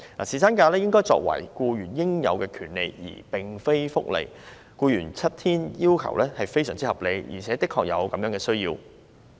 侍產假應該為僱員應有的權利而非福利，僱員要求享有7天侍產假非常合理，而且的確有這個需要。